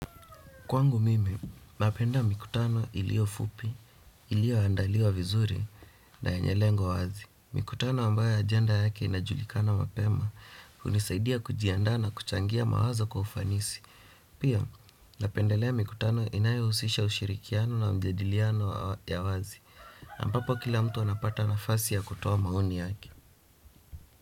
Kwangu mimi, napenda mikutano ilio fupi, ilio andaliwa vizuri na yenye lengo wazi. Mikutano ambaye ajenda yake inajulikana mapema, hunisaidia kujiandaa na kuchangia mawazo kwa ufanisi. Pia, napendelea mikutano inayohusisha ushirikiano na mjadiliano ya wazi. Na ambapo kila mtu anapata nafasi ya kutoa maoni yake.